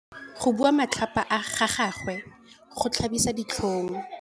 Go bua matlhapa ga gagwe go tlhabisa ditlhong.